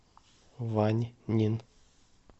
ваньнин